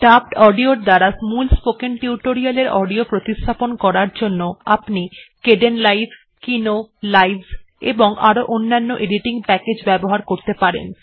dubbed অডিওর দ্বারা মূল স্পোকেন টিউটোরিয়ালের অডিও প্রতিস্থাপন করার জন্য আপনি কেডেনলাইভ কিনো লাইভস এবং আরো অন্যান্য এডিটিং প্যাকেজ ব্যবহার করতে পারেন